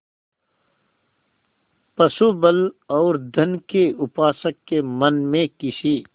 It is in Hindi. पशुबल और धन के उपासक के मन में किसी